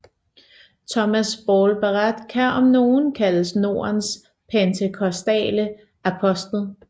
Thomas Ball Barratt kan om nogen kaldes Nordens pentekostale apostel